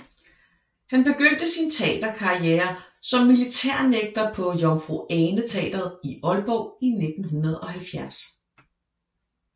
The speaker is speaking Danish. Han begyndte sin teaterkarrière som militærnægter på Jomfru Ane Teatret i Aalborg i 1970